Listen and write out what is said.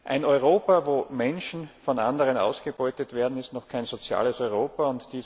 Ein Europa, in dem Menschen von anderen ausgebeutet werden, ist noch kein soziales Europa!